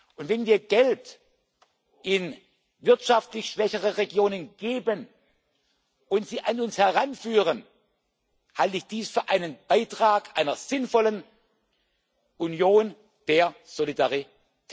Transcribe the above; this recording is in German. Und wenn wir Geld in wirtschaftlich schwächere Regionen geben und diese an uns heranführen, halte ich dies für einen Beitrag zu einer sinnvollen Union der Solidarität.